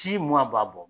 Si mun ma b'a bɔ